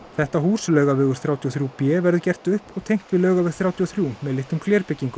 þetta hús Laugavegur þrjátíu og þrjú b verður gert upp og tengt við Laugaveg þrjátíu og þrjú með litlum